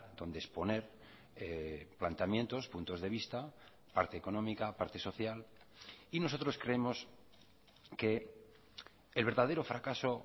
donde exponer planteamientos puntos de vista parte económica parte social y nosotros creemos que el verdadero fracaso